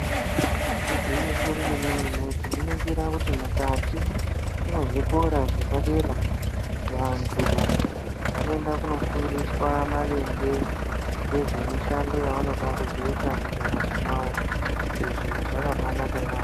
Igwinyiso remene-mene, tinoningira kuti mukati mezvikora zvepadera vantu vanoende kofundiswa maringe nezvemishando yavanoda kuzoita mundaramo mavo. Izvi zvakabaanaka yaamho.